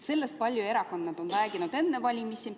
Sellest on erakonnad rääkinud palju enne valimisi.